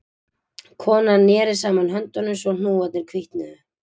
Konan neri saman höndunum svo hnúarnir hvítnuðu